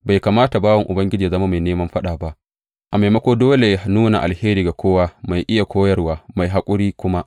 Bai kamata bawan Ubangiji yă zama mai neman faɗa ba; a maimako, dole yă nuna alheri ga kowa, mai iya koyarwa, mai haƙuri kuma.